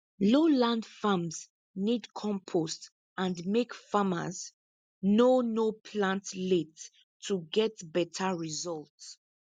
low land farms need compost and make farmers no no plant late to get better result